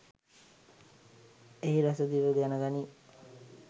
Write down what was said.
එහි රස දිව දැන ගනී.